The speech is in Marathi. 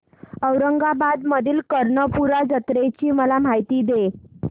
औरंगाबाद मधील कर्णपूरा जत्रेची मला माहिती दे